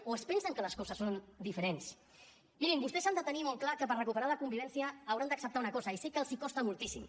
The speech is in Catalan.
o es pensen que les coses són diferents mirin vostès han de tenir molt clar que per recuperar la convivència hauran d’acceptar una cosa i sé que els costa moltíssim